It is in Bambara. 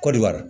Kɔdiwari